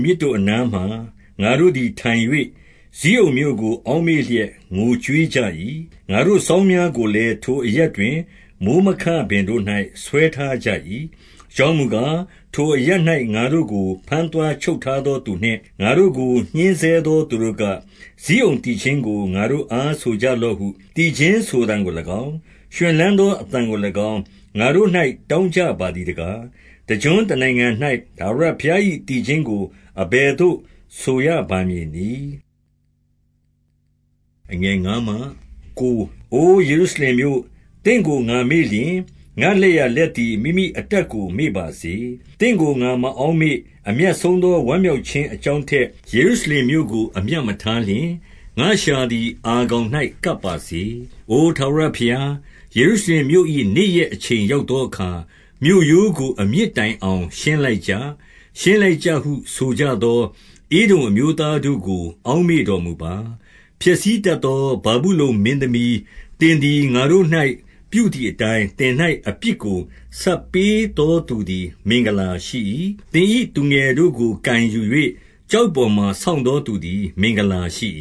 မြစ်တို့အနားမှာ ငါတို့သည်ထိုင်၍၊ ဇိအုန်မြို့ကို အောက်မေ့လျက် ငိုကြွေးကြ၏။ ငါတို့စောင်းများကိုလည်း ထိုအရပ်တွင် မိုဃ်း မခပင်တို့၌ ဆွဲထားကြ၏။ အကြောင်းမူကား၊ ထိုအရပ်၌ ငါတို့ကို ဘမ်း သွားချုပ်ထားသော သူနှင့်၊ ငါတို့ကိုညှဉ်းဆဲသောသူတို့က၊ ဇိအုန်သီချင်းကို ငါတို့အား ဆိုကြလော့ဟု၊ သီချင်းဆိုသံကို ၎င်း၊ ရွှင်လန်းသော အသံကို၎င်း ငါတို့၌ တောင်းကြပါ သည်တကား။ တကျွန်းတနိုင်ငံ၌ ထာဝရဘုရား၏ သီချင်းကို အဘယ်သို့ ဆိုရပါမည်နည်း။ အိုယေရုရှလင်မြို့၊ သင့်ကို ငါမေ့လျှင် ငါ့လက်ျာ လက်သည် မိမိအတတ်ကိုမေ့ပါစေ။ သင့်ကိုငါမအောက်မေ့၊အမြတ်ဆုံးသော ဝမ်း မြောက်ခြင်းအကြောင်းထက်၊ ယေရုရှလင်မြို့ကို အမြတ် မထားလျှင်၊ ငါ့လျှာသည် အာခေါင်၌ထပ်ပါစေ။ အိုထာဝရဘုရား၊ ယေရုရှလင်မြို့၏နေ့ရက် အချိန်ရောက်သောအခါ၊ မြို့ရိုးကို အမြစ်တိုင်အောင် ရှင်းလိုက်ကြ၊ ရှင်းလိုက်ကြဟု ဆိုကြသော ဧဒုံအမျိုးသား တို့ကို အောက်မေ့တော်မူပါ။ ဖျက်ဆီးတတ်သော ဗာဗုလုန်မင်းသမီး၊ သင် သည် ငါတို့၌ ပြုသည်အတိုင်း၊ သင်၌အပြစ်ကိုဆပ်ပေး သောသူသည် မင်္ဂလာရှိ၏။ သင်၏သူငယ်တို့ကိုကိုင်ယူ၍၊ ကျောက်ပေါ်မှာ ဆောင့်သော သူသည် မင်္ဂလာရှိ